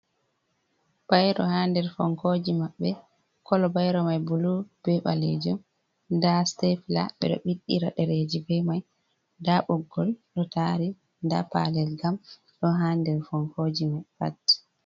Bairo hader fonkoji maɓɓe, kolo bairo mai bulu, be ɓalejum, da sitefla ɓeɗo ɓiɗɗira ɗereji be mai da ɓoggol ɗo tari da palel gam ɗo ha nder fonkoji pat.